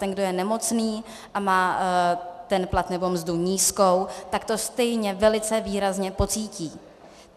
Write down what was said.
Ten, kdo je nemocný a má ten plat nebo mzdu nízkou, tak to stejně velice výrazně pocítí.